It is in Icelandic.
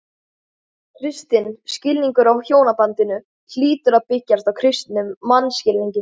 Kristinn skilningur á hjónabandinu hlýtur að byggjast á kristnum mannskilningi.